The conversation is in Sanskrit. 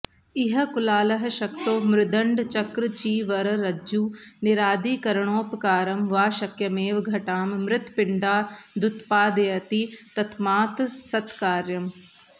इह कुलालः शक्तो मृद्दण्डचक्रचीवररज्जुनीरादिकरणोपकरणं वा शक्यमेव घटां मृत्पिण्डादुत्पादयति तस्मात् सत्कार्यम्